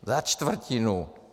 Za čtvrtinu!